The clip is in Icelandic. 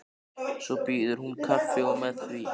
Svo býður hún kaffi og með því.